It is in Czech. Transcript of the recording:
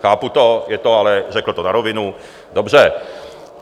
Chápu to, je to ale - řekl to na rovinu - dobře.